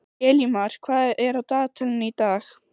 Elímar, hvað er á dagatalinu í dag?